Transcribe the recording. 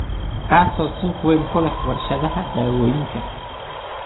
kaasoo suuq weyn ku leh warshadaha dawooyinka.